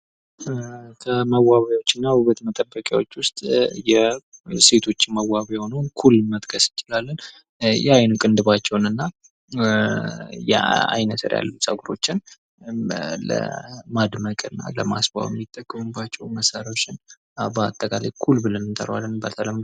ፖለቲካ በሀገር ወይም በክልል ውስጥ ሥልጣንን የማግኘት፣ የመጠቀምና የማስጠበቅ እንዲሁም የህዝብን ጉዳዮች የማስተዳደር ሂደት ነው